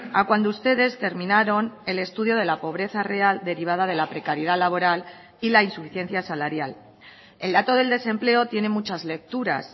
a cuando ustedes terminaron el estudio de la pobreza real derivada de la precariedad laboral y la insuficiencia salarial el dato del desempleo tiene muchas lecturas